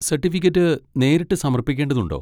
Certificate നേരിട്ട് സമർപ്പിക്കേണ്ടതുണ്ടോ?